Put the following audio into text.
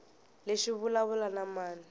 lexi xi vulavula na mani